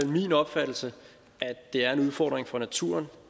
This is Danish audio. min opfattelse at det er en udfordring for naturen